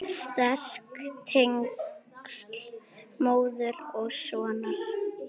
Sterk tengsl móður og sonar.